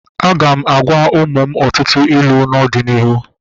Aga m agwa ụmụ m ọtụtụ ilu n'ọdịnihu